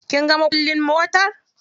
Kinga makullin motar?